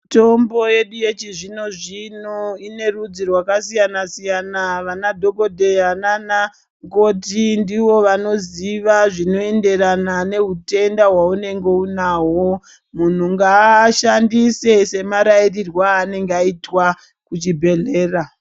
Mitombo yedu yechizvino-zvino ine rudzi rwakasiyana-siyana, vana dhogodheya nanamukoti ndivo vanoziva zvinoenderana nehutenda hwaunenge unahwo, muntu ngaashandise semarairirwe aanenge aitwa kuchibhedhlera.